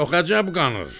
Çox əcəb qanır!